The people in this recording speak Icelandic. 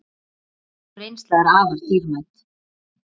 Sú reynsla er afar dýrmæt.